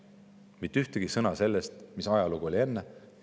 Mitte ühtegi sõna sellest, mis ajalugu oli enne.